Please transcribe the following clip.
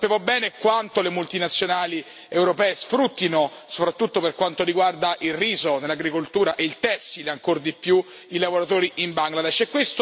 Sappiamo bene quanto le multinazionali europee sfruttino, soprattutto per quanto riguarda il riso nell'agricoltura, e il tessile ancor di più, i lavoratori in Bangladesh.